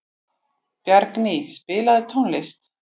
Bjarný, spilaðu tónlist.